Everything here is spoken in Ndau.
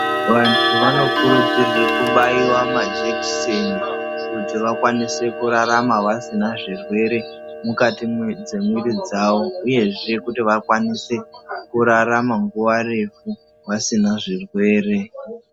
Vanthu vanokurudzirwe kubaiwa majekiseni kuti vakwanise kurarama vasina zvirwere mukati dzemwiri dzawo uyezve kuti vakwanise kurarama nguwa refu vasina zvirwere.